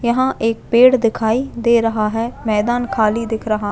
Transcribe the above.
यहाँ एक पेड़ दिखाई दे रहा है मैदान खाली दिख रहा--